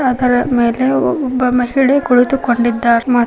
ಅದರ ಮೇಲೆ ಒಬ್ಬ ಮಹಿಳೆ ಕುತ್ಕೊಂಡಿದ್ದಾರ್ ಮ್--